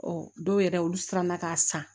Ɔ dɔw yɛrɛ olu siranna k'a san